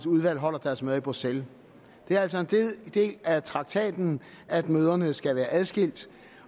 udvalg holder deres møder i bruxelles det er altså en del af traktaten at møderne skal være adskilte